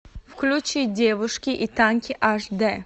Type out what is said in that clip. включи девушки и танки аш дэ